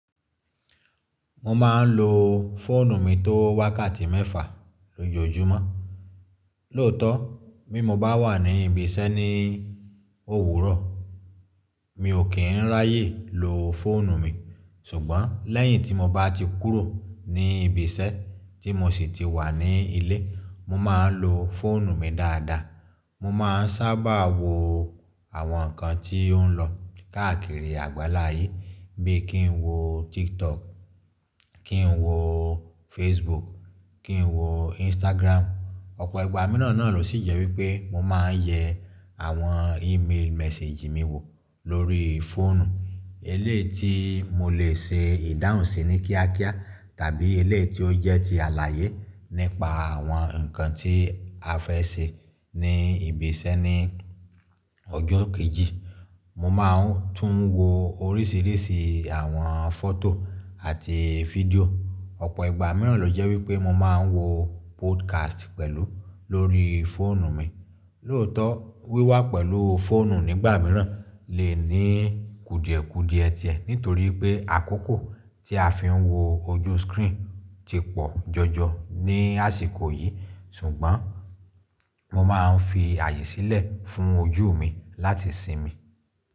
Mo mà ń lò fóònù mi tó wákàtí mẹ́fà lójoójúmọ́. Lóòótọ́, bí mo bá wà ní ibi iṣẹ́ ní òwúrọ̀, mi ò kí n ráyè lò fóònù mi. Ṣùgbọ́n lẹ́yìn tí mo bá ti kúrò ní ibi iṣẹ́ tí mo sì ti wà ní ilé, mo mà ń lò fóònù mi dáadáa. Mo mà ń sábà wò àwọn nǹkan tí ó n lọ káàkiri àgbáláyé bí i kí n wò TikTok, kí n wò Facebook, kí n wò Instagram. Ọ̀pọ̀ ìgbà mìíràn náà ló sì jẹ́ wípé mo mà ń yẹ àwọn email message mi wò lórí fóònù. Eléyìí tí mo lè ṣe ìdáhùnsí ní kíákíá tàbí elé tí ó jẹ́ ti àlàyé nípa àwọn nǹkan tí a fẹ́ ṣe ní ibi iṣẹ́ ní ọjọ́ kejì. Mo mà ń tún wò oríṣìíríṣìí àwọn fọ́tò àti fídíò. Ọ̀pọ̀ ìgbà mìíràn lọ jẹ́ wípé mo ma n wò podcast pẹ̀lú lórí fóònù mi. Lóòótọ́ wíwá pẹ̀lú fóònù nígbà mìíràn lè ní kùdìẹ̀kùdìẹ tẹlẹ̀ nítorí pé àkókò tí a fi ń wò ojú screen ti pọ̀ jọjọ ní àsìkò yìí. Ṣùgbọ́n mo máa n fi ààyè sílẹ̀ fún ojú mi láti sinmi.